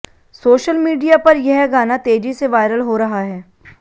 social media पर यह गाना तेजी से वायरल हो रहा है